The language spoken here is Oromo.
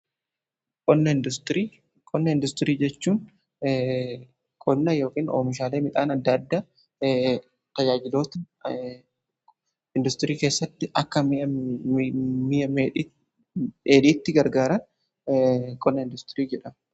Qonna industirii jechuun qonna ykn oomishaalee midhaan adda addaa tajaajiloota industirii keessatti akka mi'a dheedhiitti gargaaran qonna industirii jedhama.